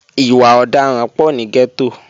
Ìwà ọ̀daràn pọ̀ ní gẹ́tò